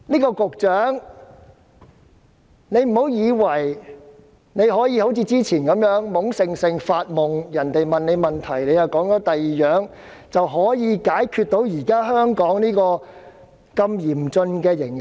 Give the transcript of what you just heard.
局長不要以為可以一如以往般懵懵懂懂發夢，答非所問，便可以解決香港現時嚴峻的形勢。